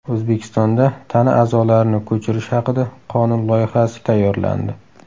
O‘zbekistonda tana a’zolarini ko‘chirish haqida qonun loyihasi tayyorlandi.